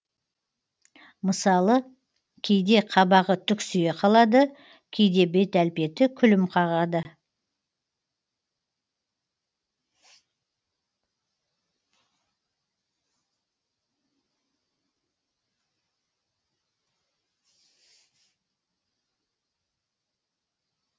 мысалы кейде қабағы түксие қалады кейде бет әлпеті күлім қағады